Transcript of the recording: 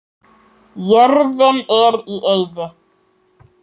Jörðin er í eyði.